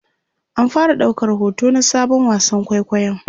an fara daukar hoto na Sabon wasan kwaikwayon